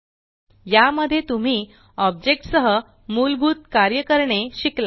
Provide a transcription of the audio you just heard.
या मध्ये तुम्ही ऑब्जेक्ट सह मुलभूत कार्य करणे शिकलात